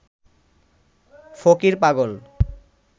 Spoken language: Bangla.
ফকির পাগল